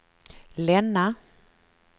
Länna